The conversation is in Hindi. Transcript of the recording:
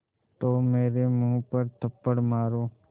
तो मेरे मुँह पर थप्पड़ मारो